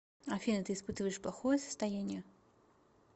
афина ты испытываешь плохое состояние